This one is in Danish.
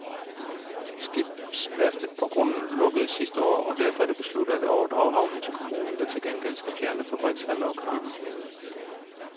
Skibsværftet på grunden lukkede sidste år, og derfor er det besluttet af overdrage havnen til kommunen, der til gengæld skal fjerne fabrikshaller og kraner.